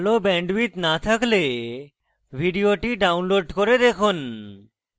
ভাল bandwidth না থাকলে ভিডিওটি download করে দেখুন